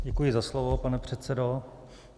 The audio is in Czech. Děkuji za slovo, pane předsedo.